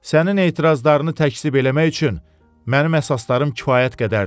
Sənin etirazlarını təkzib eləmək üçün mənim əsaslarım kifayət qədərdir."